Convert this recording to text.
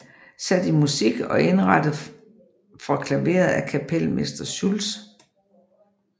Sat i Musik og indrettet for Klaveret af Kapelmester Schulz